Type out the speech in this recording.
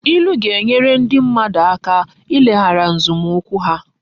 Ilu ga-enyere ndi mmadu aka ileghara nzomukwu ha